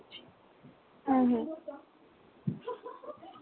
হ্যাঁ, হ্যাঁ